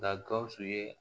Nka gawusu ye